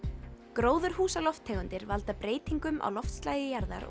gróðurhúsalofttegundir valda breytingum á loftslagi jarðar